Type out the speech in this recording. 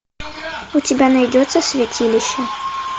у тебя найдется святилище